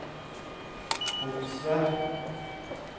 Hogsvær